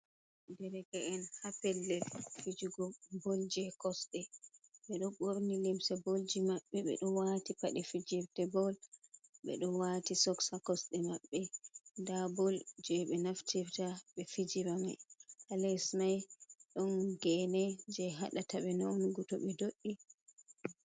Derke'en ha pellel fijugo bol jei kosɗe, ɓeɗo ɓorni limce bolji mabɓe, ɓeɗo wati paɗe fijirde bol, ɓeɗo wati sos ha kosɗe maɓɓe, nda bol jeɓe naftirta ɓe fijira mai ha les mai ɗon geene jei haɗataɓe nawnugo toɓe do'i.